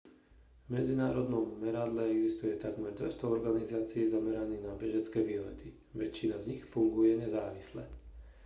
v medzinárodnom meradle existuje takmer 200 organizácií zameraných na bežecké výlety väčšina z nich funguje nezávisle